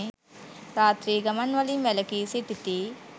රාත්‍රී ගමන්වලින් වැළකී සිටිති.